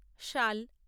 শাল